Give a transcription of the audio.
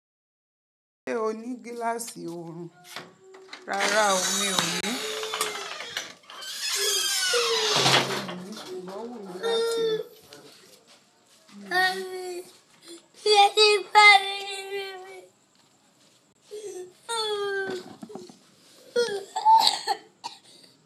Ṣé o ní gíláàsì òòrùn? Rárá o, mi ò ní.